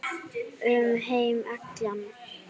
Um heim allan.